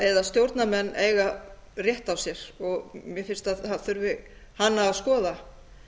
eða stjórnarmenn eiga rétt á sér mér finnst að það þurfi hana að skoða